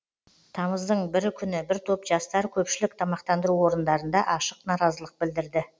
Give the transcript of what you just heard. тамыздың бірі күні бір топ жастар көпшілік тамақтандыру орындарында ашық наразылық білдірді